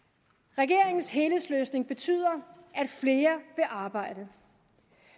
regeringens helhedsløsning betyder at flere vil arbejde